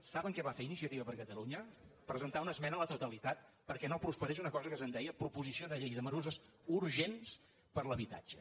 saben què va fer iniciativa per catalunya presentar una esmena a la totalitat perquè no prosperés una cosa que se’n deia proposició de llei de mesures urgents per a l’habitatge